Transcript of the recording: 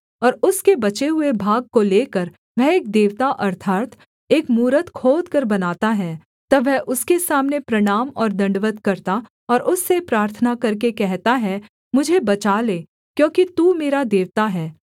और उसके बचे हुए भाग को लेकर वह एक देवता अर्थात् एक मूरत खोदकर बनाता है तब वह उसके सामने प्रणाम और दण्डवत् करता और उससे प्रार्थना करके कहता है मुझे बचा ले क्योंकि तू मेरा देवता है